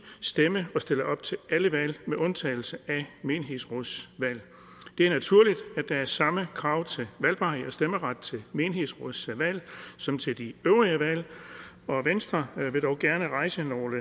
stemme og stille op til alle valg med undtagelse af menighedsrådsvalg det er naturligt at der er samme krav til valgbarhed og stemmeret til menighedsrådsvalg som til de øvrige valg venstre vil dog gerne rejse nogle